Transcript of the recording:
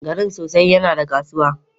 Garin sosai yana da kasuwa